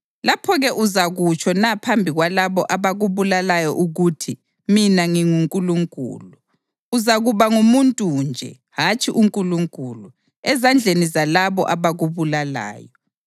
Lapho-ke uzakutsho na phambi kwalabo abakubulalayo ukuthi, “Mina ngingunkulunkulu?” Uzakuba ngumuntu nje, hatshi unkulunkulu, ezandleni zalabo abakubulalayo.